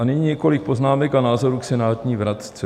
A nyní několik poznámek a názorů k senátní vratce.